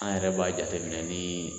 An yɛrɛ b'a jateminɛ ni